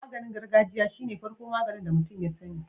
Maganin gargajiya shine farko magani da mutun ya sani